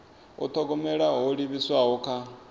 u thogomela ho livhiswaho kha